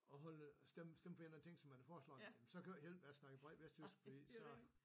At holde stemme stemme for en eller anden ting som man foreslår så kan det jo ikke hjælpe med at snakke for meget vestjysk fordi så